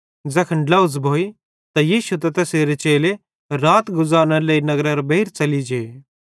ज़ैखन ड्लोझ़ भोइ त यीशु त तैसेरे चेले रात गुज़ारनेरे लेइ नगरेरां बेइर च़ेलि जे